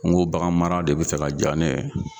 N ko baganmara de bɛ fɛ ka jaa ne ye.